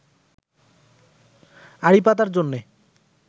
আড়িপাতার জন্যে